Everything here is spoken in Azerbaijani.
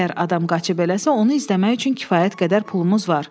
Əgər adam qaçıb eləsə, onu izləmək üçün kifayət qədər pulumuz var.